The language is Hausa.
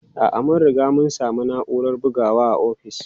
A'a, mun riga mun sami na'urar bugawa a ofis.